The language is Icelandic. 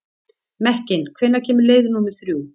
Mekkin, hvenær kemur leið númer þrjú?